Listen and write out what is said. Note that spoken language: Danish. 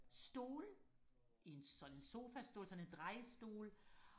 stol i en sådan sofastol sådan en drejestol